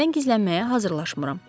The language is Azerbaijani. Sizdən gizlənməyə hazırlaşmıram.